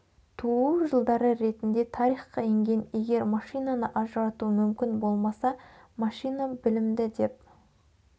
туу жылдары ретінде тарихқа енген егер машинаны ажырату мүмкін болмаса машина білімді деп